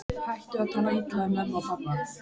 Hættu að tala illa um mömmu og pabba!